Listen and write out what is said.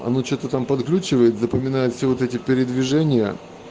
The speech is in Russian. оно что то там подглючивает запоминает все вот эти передвижения